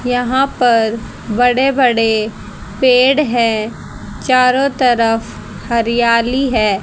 यहां पर बड़े बड़े पेड़ हैं चारों तरफ हरियाली है।